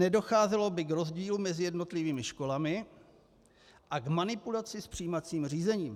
Nedocházelo by k rozdílům mezi jednotlivými školami a k manipulaci s přijímacím řízením.